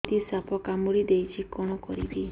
ଦିଦି ସାପ କାମୁଡି ଦେଇଛି କଣ କରିବି